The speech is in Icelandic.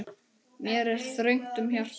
Mér er þröngt um hjarta.